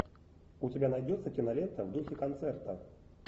у тебя найдется кинолента в духе концерта